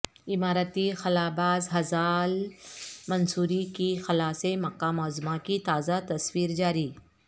اماراتی خلابازھزاع المنصوری کی خلا سے مکہ معظمہ کی تازہ تصویرجاری